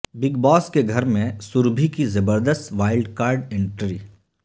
big Boss کے گھر میں سربھی کی زبردست وائلڈ کارڈ انٹری